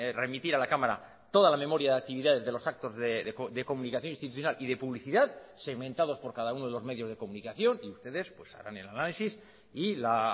remitir a la cámara toda la memoria de actividades de los actos de comunicación institucional y de publicidad segmentados por cada uno de los medios de comunicación y ustedes harán el análisis y la